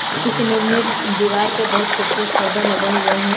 इस इमेज में दीवार पर बहुत खूबसूरत पर्दा लगा हुआ है।